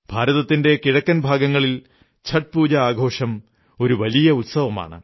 ഭാരതത്തിന്റെ കിഴക്കൻ ഭാഗങ്ങളിൽ ഛഠ് പൂജ ആഘോഷം ഒരു വലിയ ഉത്സവമാണ്